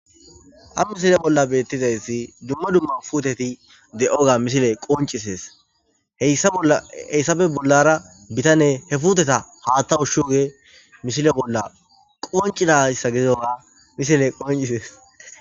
Ha misile bolla beettizayssi dumma dumma puteti de'oga misile qoncisees heyssafe bollara bitane he futeta haattawu shioge mishile bolla qoncinayssa gezoga misile qoncisees.